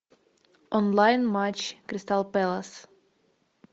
онлайн матч кристал пэлас